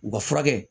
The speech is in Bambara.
U ka furakɛ